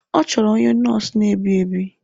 Ọ chọrọ onye nọọsụ na-ebi ebi.